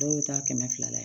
Dɔw bɛ taa kɛmɛ fila layɛ